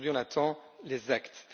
Mais aujourd'hui, on attend les actes.